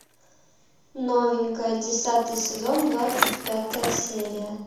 новенькая десятый сезон двадцать пятая серия